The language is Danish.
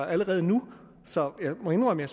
allerede nu så jeg må indrømme